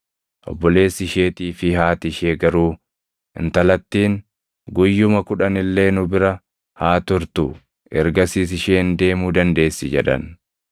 Obboleessi isheetii fi haati ishee garuu, “Intalattiin guyyuma kudhan illee nu bira haa turtu; ergasiis isheen deemuu dandeessi” jedhan.